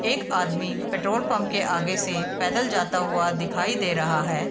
एक आदमी petrol pump के आगे से पैदल जाता हुआ दिखाई दे रहा है।